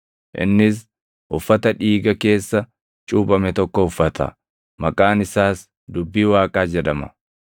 Innis uffata dhiiga keessa cuuphame tokko uffata; maqaan isaas Dubbii Waaqaa jedhama.